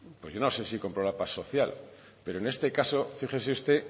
pues yo no sé si compró la paz social pero en este caso fíjese usted